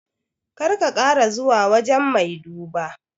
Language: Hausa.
Kar ka kara zuwa wajan mai duba